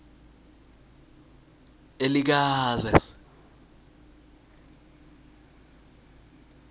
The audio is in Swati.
elikazi